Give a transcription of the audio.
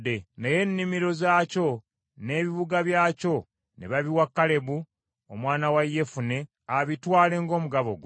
Naye ennimiro zaakyo n’ebibuga byakyo ne babiwa Kalebu omwana wa Yefune abitwale ng’omugabo gwe.